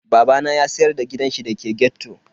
Babana ya siyar da gidanshi da ke ghetto.